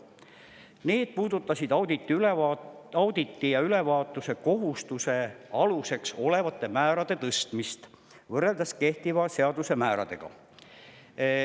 Need puudutasid auditi ja ülevaatuse kohustuse aluseks olevate määrade tõstmist võrreldes kehtiva seaduse määradega.